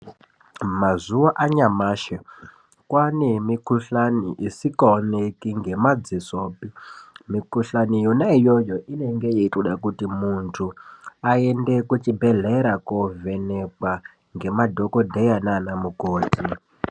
Mazuva anyamashi kwane mikuhlani isikaoneki ngemadzisopi. Mikuhlani yona iyoyo inonga yeitoda kuti muntu aende kuchibhedhera kovhenekwa ngemadhogodheya nana mukoti.